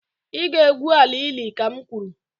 Ị ga-egwu ala ili, ka m kwuru!